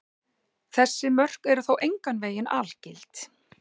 Þessi mörk eru þó engan veginn algild.